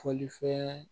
Fɔlifɛn